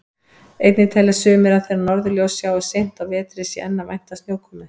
Einnig telja sumir að þegar norðurljós sjáist seint á vetri sé enn að vænta snjókomu.